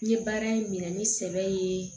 N ye baara in minɛ ni sɛbɛ ye